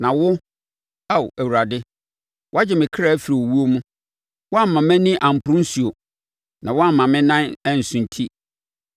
Na wo, Ao Awurade, woagye me kra afiri owuo mu; woamma mʼani amporo nisuo, na woamma me nan ansunti,